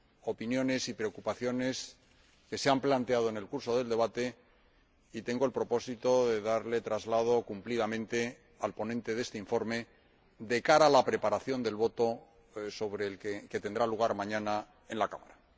opiniones y preocupaciones que se han planteado en el curso del debate y tengo el propósito de darles cumplido traslado al ponente de este informe de cara a la preparación de la votación que tendrá lugar mañana en la Cámara.